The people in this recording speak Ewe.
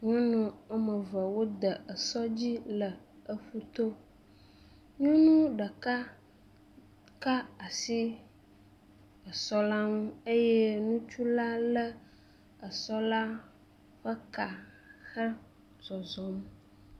Nyɔnu woame eve wode eɔs dzi le ƒuto, nyɔnu ɖeka ka asi esɔ la ŋu eye ŋutsu la lé esɔ la ƒe ka hezɔzɔm.